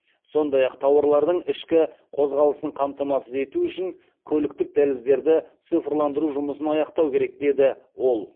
сондай ақ тауарлардың ішкі қозғалысын қамтамасыз ету үшін көліктік дәліздерді цифрландыру жұмысын аяқтау керек деді ол